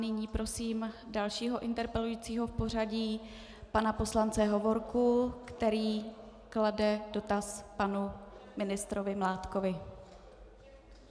Nyní prosím dalšího interpelujícího v pořadí, pana poslance Hovorku, který klade dotaz panu ministrovi Mládkovi.